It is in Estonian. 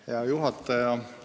Hea juhataja!